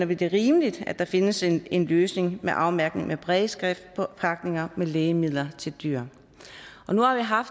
vi det rimeligt at der findes en en løsning med afmærkning med brailleskrift på pakninger med lægemidler til dyr nu har